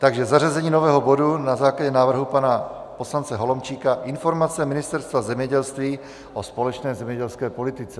Takže zařazení nového bodu na základě návrhu pana poslance Holomčíka - informace Ministerstva zemědělství o společné zemědělské politice.